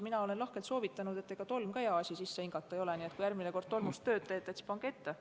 Mina olen lahkelt soovitanud, et ega tolmgi hea asi sisse hingata ole, nii et kui järgmine kord tolmust tööd teete, siis pange mask ette.